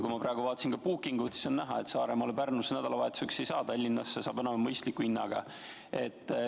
Kui ma praegu vaatasin Bookingut, siis on näha, et Saaremaale ja Pärnusse nädalavahetuseks ei saa, aga Tallinnasse saab enam-vähem mõistliku hinnaga.